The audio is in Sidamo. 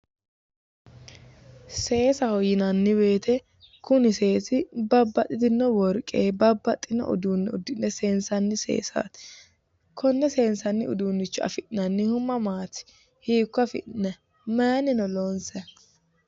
seesaho yineemmo wote kuni seesi babbaxitino worqenni babbaxitino uduunne uddi'ne seensanni seesaati konne saansanni uduunnicho afi'nannihu mamaati? hiikko afi'nanni mayiinni loonsanni?